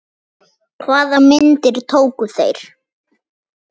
Hvaða myndir tóku þeir?